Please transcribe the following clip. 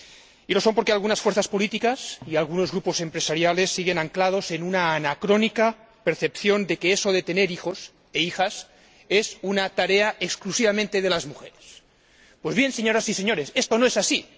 Y lo son porque algunas fuerzas políticas y algunos grupos empresariales siguen anclados en una anacrónica percepción de que eso de tener hijos e hijas es exclusivamente una tarea de las mujeres. Pues bien, señoras y señores, esto no es así.